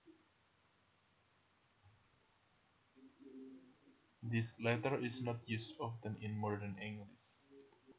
This letter is not used often in modern English